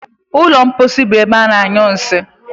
Ụlọ mposi bụ ebe ana- anyụ nsị.